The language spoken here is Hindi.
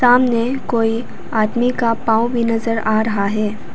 सामने कोई आदमी का पाव भी नजर आ रहा है।